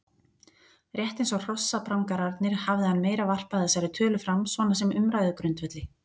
Rétt eins og hrossaprangararnir hafði hann meira varpað þessari tölu fram svona sem umræðugrundvelli.